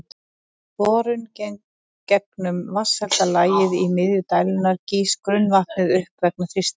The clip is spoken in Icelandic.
Við borun gegnum vatnshelda lagið í miðju dældarinnar gýs grunnvatnið upp vegna þrýstings.